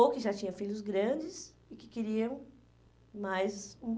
Ou que já tinha filhos grandes e que queriam mais hum